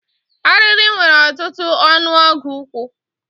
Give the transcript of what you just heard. Arịrị nwere ọtụtụ ọnụọgụ ụkwụ.